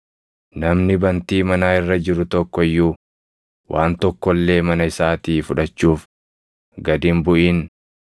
Namni bantii manaa irra jiru tokko iyyuu waan tokko illee mana isaatii fudhachuuf gad hin buʼin.